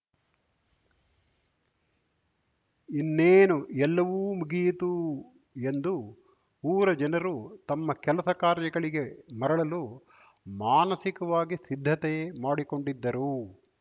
ಇನ್ನೇನು ಎಲ್ಲವೂ ಮುಗಿಯಿತು ಎಂದು ಊರ ಜನರು ತಮ್ಮ ಕೆಲಸ ಕಾರ್ಯಗಳಿಗೆ ಮರಳಲು ಮಾನಸಿಕವಾಗಿ ಸಿದ್ಧತೆ ಮಾಡಿಕೊಂಡಿದ್ದರು